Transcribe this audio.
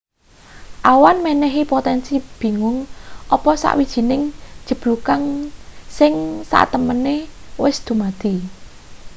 awan menehi potensi bingung apa sawijining jeblugan sing satemene wis dumadi